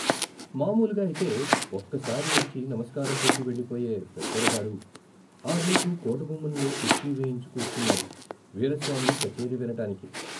మామూలుగా అయితే ఒక్కసారి వచ్చి నమస్కారం పెట్టి వెళ్ళిపోయే పెద్దొర గారు ఆ రోజు కోట గుమ్మంలో కుర్చీ వేయించుకూర్చున్నారు వీరస్వామి కచేరి వినటానికి.